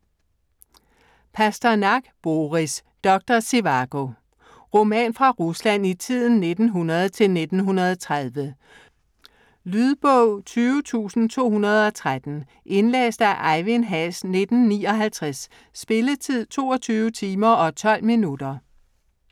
Pasternak, Boris: Doktor Živàgo Roman fra Rusland i tiden 1900-1930. Lydbog 20213 Indlæst af Ejvind Haas, 1959. Spilletid: 22 timer, 12 minutter.